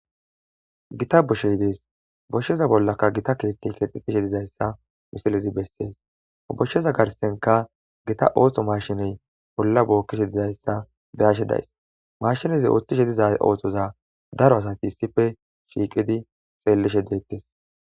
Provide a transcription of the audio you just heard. gita boshshey dees boshsheza bollaka gita keetti kexetishe dizayssa misilizi bessees boshsheza garstenka gita ooththo mashiney bolla bookkishe didayssa beyashe days mashinezi ooththishe diza ooththoza daro asati ssife shiiqidi xeellishe deettes